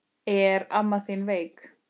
Er amma þín veik?